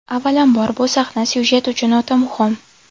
Avvalambor, bu sahna syujet uchun o‘ta muhim.